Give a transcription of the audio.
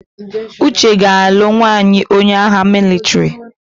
Uchenna ga-alụ nwaanyị onye agha mịlịtrị.